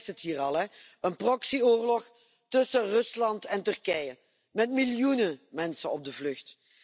Iedereen zegt het hier al een proxyoorlog tussen Rusland en Turkije, met miljoenen mensen op de vlucht.